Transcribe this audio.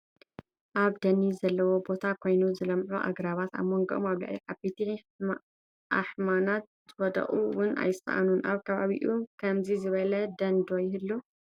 ኣብ ደኒ ዘለዎ ቦታ ኾይኑ ዝለምዑ ኣግራባት፣ ኣበጎም ኣብ ልዕሊ ዓበይቲ ኣሕማናት ዝወደቑ ውን ኣይሰኣኑን፡፡ ኣብ ከባቢኹም ከምዚ ዝበለ ደን ዶ ይህሉ?